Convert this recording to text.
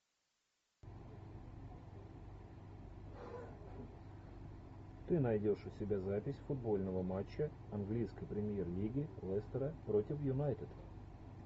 ты найдешь у себя запись футбольного матча английской премьер лиги лестера против юнайтед